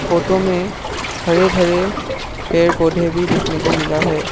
Photo में खड़े खड़े पेड़ पौधे भी देखने को मिला है।